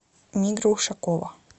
мигра ушакова